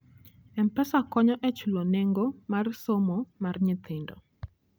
M-Pesa konyo e chulo nengo mar somo mar nyithindo.